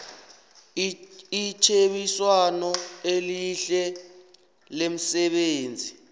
itjhebiswano elihle lemsebenzini